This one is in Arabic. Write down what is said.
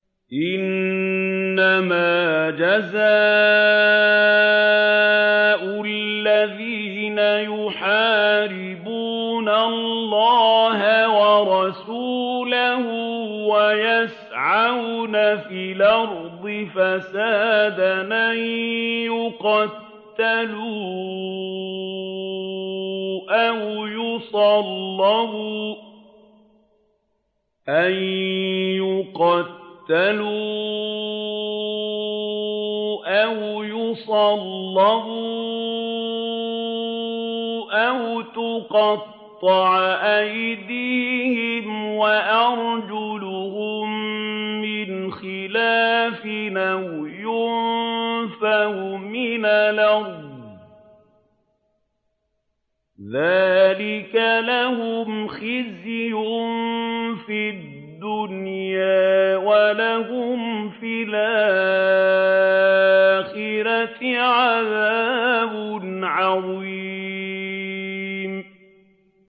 إِنَّمَا جَزَاءُ الَّذِينَ يُحَارِبُونَ اللَّهَ وَرَسُولَهُ وَيَسْعَوْنَ فِي الْأَرْضِ فَسَادًا أَن يُقَتَّلُوا أَوْ يُصَلَّبُوا أَوْ تُقَطَّعَ أَيْدِيهِمْ وَأَرْجُلُهُم مِّنْ خِلَافٍ أَوْ يُنفَوْا مِنَ الْأَرْضِ ۚ ذَٰلِكَ لَهُمْ خِزْيٌ فِي الدُّنْيَا ۖ وَلَهُمْ فِي الْآخِرَةِ عَذَابٌ عَظِيمٌ